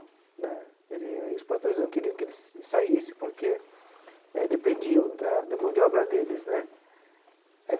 Né ele é os patrões não queriam que eles saísse porque eh dependiam da da mão de obra deles né aí.